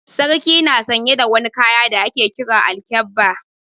Sarki na sanye da wani kaya da ake Kiran Alkyabba.